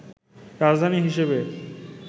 রাজধানী হিসেবে